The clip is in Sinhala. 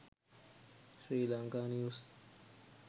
sri lanka news